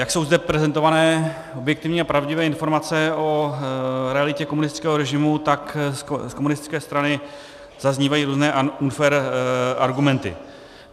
Jak jsou zde prezentované objektivní a pravdivé informace o realitě komunistického režimu, tak z komunistické strany zaznívají různé unfair argumenty.